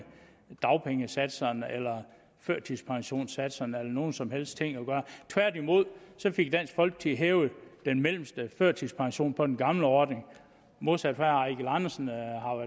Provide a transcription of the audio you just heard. dagpengesatserne eller førtidspensionssatserne eller nogen som helst ting at gøre tværtimod fik dansk folkeparti hævet den mellemste førtidspension på den gamle ordning modsat